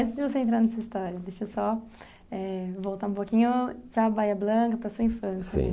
Antes de você entrar nessa história, deixa eu só eh voltar um pouquinho para a Bahía Blanca, para a sua infância. Sim